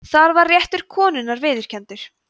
þar var réttur konunnar viðurkenndur